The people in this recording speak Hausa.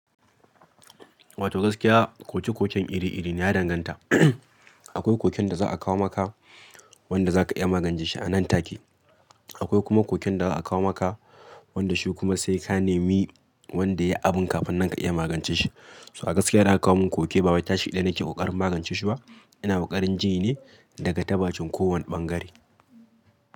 Wato gaskiya koke koken iri-iri ne ya danganta. Akwai koken da za a kawo maka wanda za ka iya magance shi a nan take. Akwai kuma koken da za a kawo maka wanda shi kuma sai ka nemi wanda ya yi abun kafin nan ka iya magance shi. So a gaskiya idan aka kawo mun koke ba wai tashi ɗaya nake kokarin magance shi ba. Ina kokarin jini ne daga ta bakin kowane bangare.